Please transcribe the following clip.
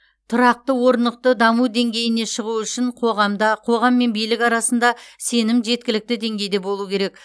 тұрақты орнықты даму деңгейіне шығу үшін қоғамда қоғам мен билік арасында сенім жеткілікті деңгейді болу керек